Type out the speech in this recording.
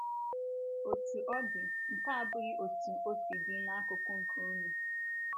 Otu ọdi, nke a abụghị otú o si dị n’akụkụ nke unu.